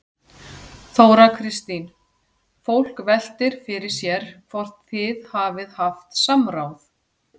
Þóra Kristín: Fólk veltir fyrir sér hvort þið hafið haft samráð?